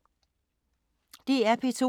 DR P2